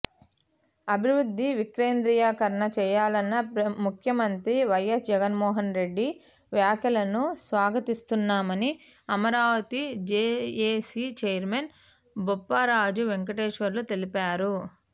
అభివృద్ధి వికేంద్రీకరణ చేయాలన్న ముఖ్యమంత్రి వైఎస్ జగన్మోహన్రెడ్డి వ్యాఖ్యలను స్వాగతిస్తున్నామని అమరావతి జేఏసీ చైర్మన్ బొప్పరాజు వెంకటేశ్వర్లు తెలిపారు